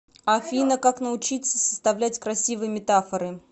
афина как научиться составлять красивые метафоры